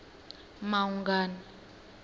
maungani